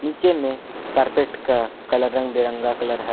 नीचे में कारपेट का कलर रंग बिरंगा कलर है।